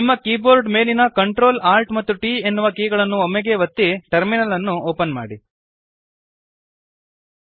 ನಿಮ್ಮ ಕೀಬೋರ್ಡ್ ಮೇಲಿನ Ctrl Alt ಮತ್ತು T ಎನ್ನುವ ಕೀಗಳನ್ನು ಒಂದೇ ಬಾರಿಗೆ ಒತ್ತಿ ಟರ್ಮಿನಲ್ ಅನ್ನು ಓಪನ್ ಮಾಡಿರಿ